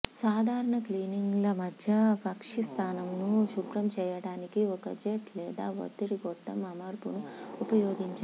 సాధారణ క్లీనింగ్ల మధ్య పక్షి స్నానంను శుభ్రం చేయడానికి ఒక జెట్ లేదా ఒత్తిడి గొట్టం అమర్పును ఉపయోగించండి